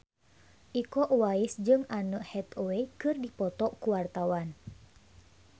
Iko Uwais jeung Anne Hathaway keur dipoto ku wartawan